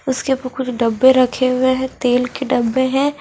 उसके ऊपर कुछ डब्बे रखे हुए हैं तेल के डब्बे हैं।